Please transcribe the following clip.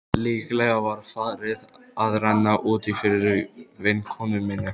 Líklega var farið að renna út í fyrir vinkonu minni.